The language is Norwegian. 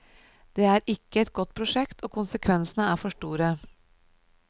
Det er ikke et godt prosjekt og konsekvensene er for store.